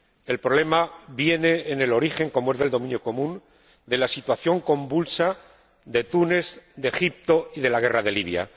El problema viene en el origen, como es del dominio común, de la situación convulsa de Túnez, de Egipto y de la guerra de Libia.